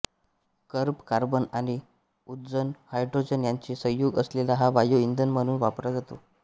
कर्ब carbon आणि उदजन hydrogen यांचे संयुग असलेला हा वायु इंधन म्हणून वापरला जातो